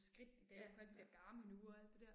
Ja, ja